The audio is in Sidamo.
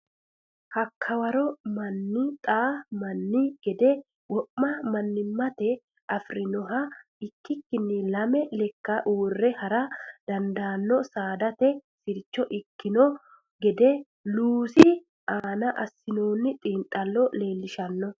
Hakka waro manni xaa manni gede wo ma manninnaate afi rinoha ikkikkinni lame lekkanni uurre ha ra dandaanno saadate sircho ikkino gede Luusi aana assinoonni xiinxallo leellishshanno.